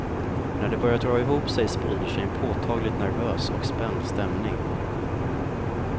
När det börjar dra ihop sig sprider sig en påtagligt nervös och spänd stämning.